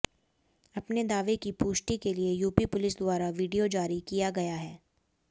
अपने दावे की पुष्टि के लिए यूपी पुलिस द्वारा वीडियो जारी किया गया है